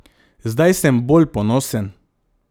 Zdaj sem bolj ponosen.